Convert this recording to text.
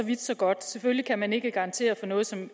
vidt så godt selvfølgelig kan man ikke garantere for noget som